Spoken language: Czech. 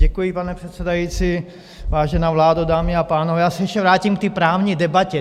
Děkuji, pane předsedající, vážená vládo, dámy a pánové, já se ještě vrátím k té právní debatě.